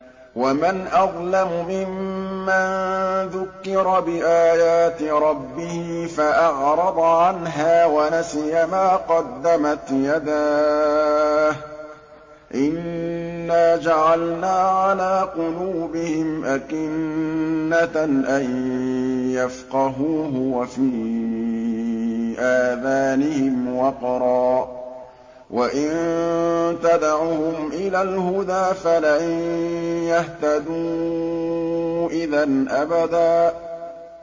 وَمَنْ أَظْلَمُ مِمَّن ذُكِّرَ بِآيَاتِ رَبِّهِ فَأَعْرَضَ عَنْهَا وَنَسِيَ مَا قَدَّمَتْ يَدَاهُ ۚ إِنَّا جَعَلْنَا عَلَىٰ قُلُوبِهِمْ أَكِنَّةً أَن يَفْقَهُوهُ وَفِي آذَانِهِمْ وَقْرًا ۖ وَإِن تَدْعُهُمْ إِلَى الْهُدَىٰ فَلَن يَهْتَدُوا إِذًا أَبَدًا